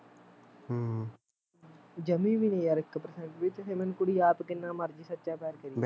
ਜਮੀ ਵੀ ਨੀ ਯਾਰ ਇੱਕ percent ਵੀ ਚਾਹੇ ਮੈਨੂੰ ਕੁੜੀ ਆਪ ਕਿੰਨਾ ਮਰਜ਼ੀ ਸੱਚਾ ਪਿਆਰ ਕਰੀ ਜਾਵੇ